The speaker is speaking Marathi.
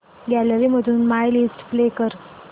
गॅलरी मधून माय लिस्ट प्ले कर